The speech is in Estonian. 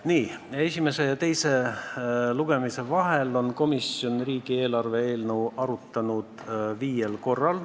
Nii, esimese ja teise lugemise vahel on komisjon riigieelarve eelnõu arutanud viiel korral.